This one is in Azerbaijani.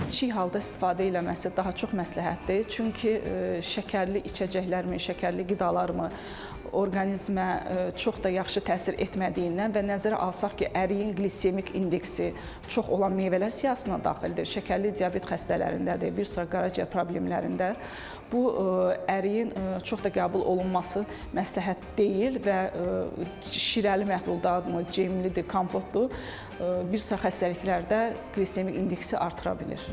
Çiy halda istifadə eləməsi daha çox məsləhətdir, çünki şəkərli içəcəklərmi, şəkərli qidalarmı, orqanizmə çox da yaxşı təsir etmədiyindən və nəzərə alsaq ki, əriyin qlismik indeksi çox olan meyvələr siyahısına daxildir, şəkərli diabet xəstələrindədir, bir sıra qaraciyər problemlərində bu əriyin çox da qəbul olunması məsləhət deyil və şirəli məhlullarda, cemlidir, kompotdur, bir sıra xəstəliklərdə qlismik indeksi artıra bilir.